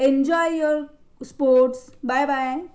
Enjoy your sports bye-bye.